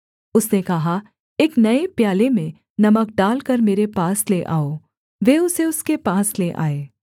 उसने कहा एक नये प्याले में नमक डालकर मेरे पास ले आओ वे उसे उसके पास ले आए